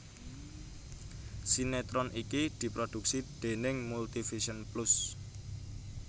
Sinetron iki diproduksi déning Multivision Plus